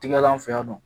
Tigalan fɛ yan nɔ